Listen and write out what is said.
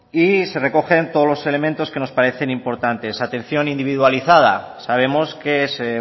y se recogen todos los elementos que nos parecen importantes atención individualizada sabemos que se